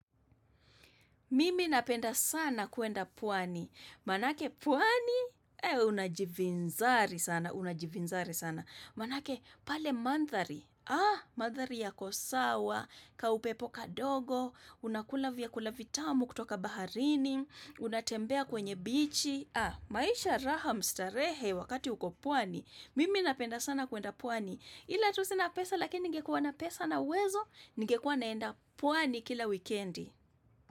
Mimi napenda sana kuenda pwani. Maanake pwani, unajivinzari sana, unajivinzari sana. Maanake pale mandhari, ah, mandhari yako sawa, kaupepo kadogo, unakula vyakula vitamu kutoka baharini, unatembea kwenye bichi, ah, maisha raha mstarehe wakati uko pwani. Mimi napenda sana kuenda pwani. Ila tu sina pesa lakini ningekua na pesa na uwezo, ningekua naenda pwani kila wikendi.